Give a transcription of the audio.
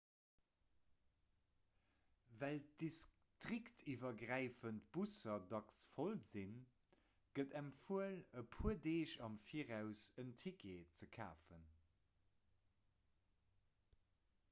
well d'distriktiwwergräifend busser dacks voll sinn gëtt empfuel e puer deeg am viraus en ticket ze kafen